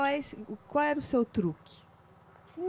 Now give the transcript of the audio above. Mas o qual era o seu truque?